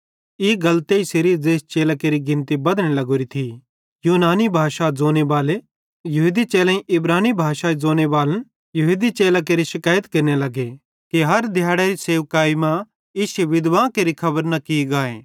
ई गल तेइसेरीए ज़ेइस चेले केरि गिनती बधने लगोरी थी यूनानी भाषा ज़ोनेबालो यहूदी चेलेईं इब्रानी भाषा ज़ोनेबाले यहूदी चेलां केरि शकैइत केरने लगे कि हर दिहैड़रे सेवाई मां विधवां केरि खबर न की गाए